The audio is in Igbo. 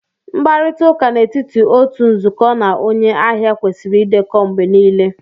Mkparịta ụka n'etiti otu nzukọ na onye ahịa kwesịrị ịdekọ mgbe niile